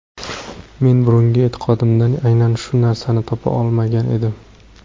Men burungi e’tiqodimdan aynan shu narsani topa olmagan edim.